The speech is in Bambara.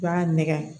U b'a nɛgɛn